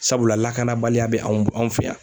Sabula lakanabaliya bɛ anw anw fɛ yan.